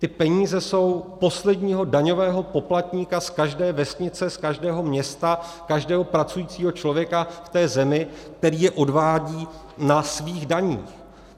Ty peníze jsou posledního daňového poplatníka z každé vesnice, z každého města, každého pracujícího člověka v té zemi, který je odvádí na svých daních.